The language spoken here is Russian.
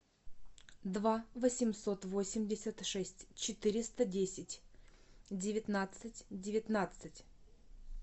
два восемьсот восемьдесят шесть четыреста десять девятнадцать девятнадцать